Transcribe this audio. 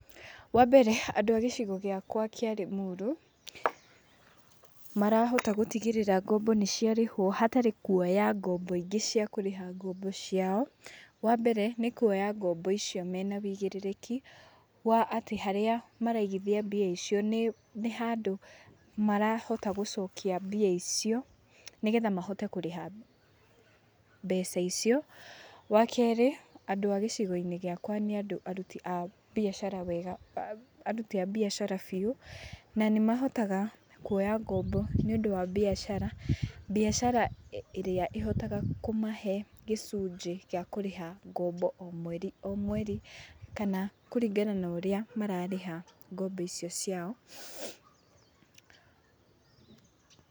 Wambere andũ a gĩcigo gĩakũa kĩa Lĩmuru marahota gũtigĩrĩra ngombo nĩciarĩhũo hatarĩ kuoya ngombo ingĩ cia kũrĩha ngombo ciao. Wambere, nĩ kuoya ngombo icio mena wĩigĩrĩrĩki, wa atĩ harĩa maraigithia mbia icio nĩ nĩ handũ, marahota gũcokia mbia icio, nĩgetha mahote kũrĩha mbeca icio. Wakerĩ, andũ a gĩcigo-inĩ gĩakũa nĩ andũ aruti a mbiacara wega aruti a mbiacara biũ, na nĩmahotaga kuoya ngombo nĩũndũ wa mbiacara. Mbiacara ĩrĩa ĩhotaga kũmahe gĩcunjĩ gĩa kũrĩha ngombo o mweri o mweri kana kũringana na ũrĩa mararĩha ngombo icio ciao. Pause